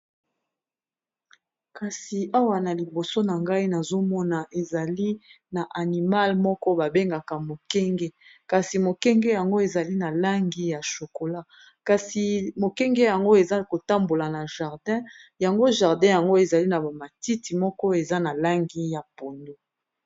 kasi awa na liboso na ngai nazomona ezali na animal moko babengaka mokenge kasi mokenge yango ezali na langi ya shokola kasi mokenge yango eza kotambola na jardin yango jardin yango ezali na bamatiti moko eza na langi ya pondo